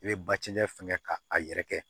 I bɛ batiri fɛngɛ k' a yɛrɛ kɛ